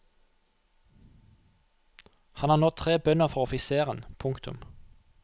Han har nå tre bønder for offiseren. punktum